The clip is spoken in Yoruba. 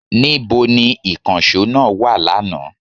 Níbo ni ìkànsó náà wa lánàá?